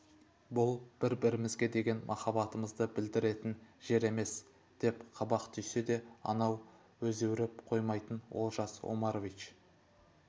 бұл бір-бірімзге деген махаббатымызды білдіретін жер емес деп қабақ түйсе де анау өзеуреп қоймайтын олжас омарович